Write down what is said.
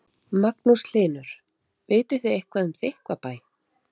Magnús Hlynur: Vitið þið eitthvað um Þykkvabæ?